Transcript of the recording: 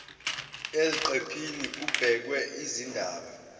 eziqephini kubhekwe izindaba